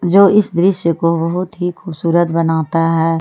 जो इस दृश्य को बहुत ही खूबसूरत बनाता है।